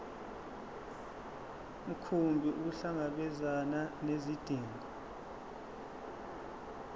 mkhumbi ukuhlangabezana nezidingo